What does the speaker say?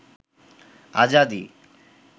আজাদী